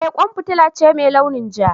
Eh kwan fitila ce mai launin ja.